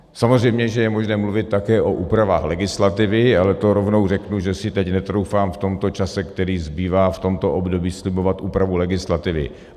Samozřejmě že je možné mluvit také o úpravách legislativy, ale to rovnou řeknu, že si teď netroufám v tomto čase, který zbývá v tomto období, slibovat úpravu legislativy.